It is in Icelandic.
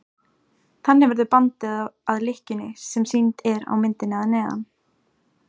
Þannig verður bandið að lykkjunni sem sýnd er á myndinni að neðan.